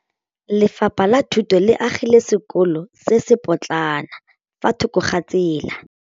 Lefapha la Thuto le agile sekôlô se se pôtlana fa thoko ga tsela.